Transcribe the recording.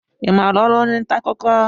I maara ọrụ onye nta akụkọ?